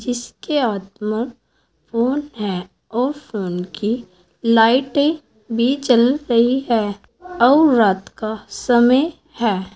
इसके हाथ में फोन है और फोन की लाइटें भी जल रही है और रात का समय है।